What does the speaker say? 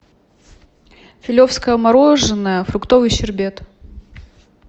филевское мороженое фруктовый щербет